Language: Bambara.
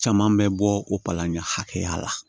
Caman bɛ bɔ o palan ɲɛ hakɛya la